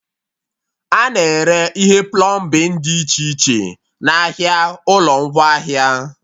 A na-ere ihe plọmbin dị iche iche n'ahịa ụlọ ngwaahịa